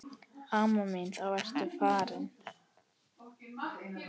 Amma mín þá ertu farin.